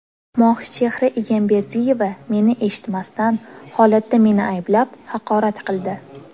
Mohichehra Egamberdiyeva meni eshitmasdan, holatda meni ayblab, haqorat qildi.